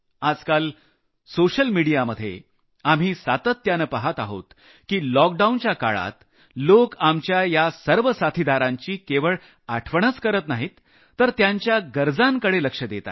आजकाल सोशल मिडियामध्ये आम्ही सातत्यानं पहात आहोत की लॉकडाऊनच्या काळात लोक आपल्या या सर्व साथीदारांची केवळ आठवणच करत नाहीत तर त्यांच्या आवश्यकतांकडे लक्ष देत आहेत